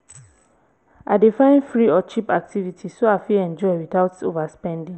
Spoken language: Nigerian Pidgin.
i dey find free or cheap activities so i fit enjoy without overspending.